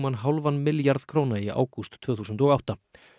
hálfan milljarð í ágúst tvö þúsund og átta